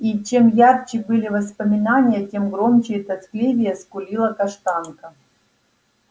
и чем ярче были воспоминания тем громче и тоскливее скулила каштанка